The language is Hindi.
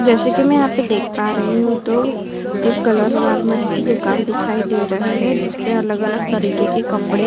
जैसे कि मैं यहां पर देख पा रही हूं तो एक कलर गारमेंट्स की दुकान दिखाई दे रही है जिसपे अलग-अलग तरीके के कपड़े --